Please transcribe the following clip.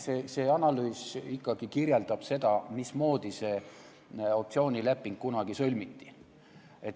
See analüüs kirjeldab, mismoodi see optsioonileping kunagi sõlmiti.